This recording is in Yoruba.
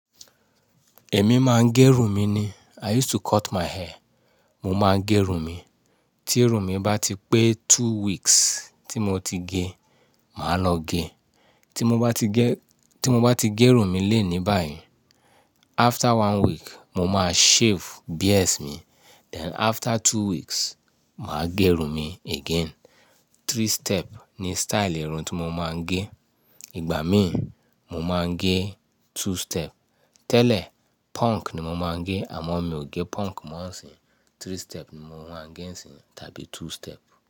Èmi máa ń gẹrun mi ni. I used to cut my hair. Mo máa gẹrun mi. Tí irun mi bá ti pé two weeks tí mo ti gẹ, màá lọ gé. Tí mo bá ti gẹ, tí mo bá ti gẹrun mi léni báyìí, after one week mo máa shave beards mi, then after two weeks, màá gẹrun mi again. Three step ni style irun tí mo máa ń gẹ. Ìgbà míín, mo máa ń gẹ two step. Tẹ́lẹ̀, punk ni mo máa ń gẹ àmọ́ mi ò gẹ punk mọ́ ń sín. Three step ni mo máa ń gẹ nisín tàbí two step.